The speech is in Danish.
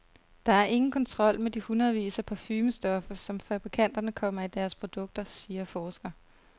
Der er ingen kontrol med de hundredvis af parfumestoffer, som fabrikanterne kommer i deres produkter, siger forsker.